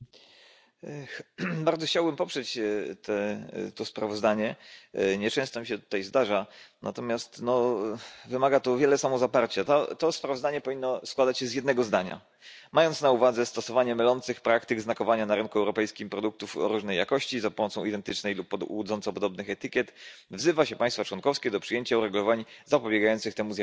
Panie Przewodniczący! Bardzo chciałbym poprzeć to sprawozdanie. Nieczęsto mi się to tu zdarza, wymaga to natomiast wiele samozaparcia. To sprawozdanie powinno składać się z jednego zdania mając na uwadze stosowanie mylących praktyk znakowania na rynku europejskim produktów o różnej jakości za pomocą identycznych lub łudząco podobnych etykiet, wzywa się państwa członkowskie do przyjęcia uregulowań zapobiegających temu zjawisku.